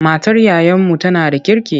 Matar yayanmu tana da kirki.